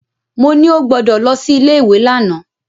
Mo ní ó gbọdọ̀ lọ sí ilé ìwé lánàá.